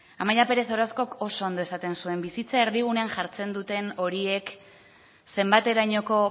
amaia pérez orozcok oso ondo esaten zuen bizitza erdigunean jartzen dute horiek zenbaterainoko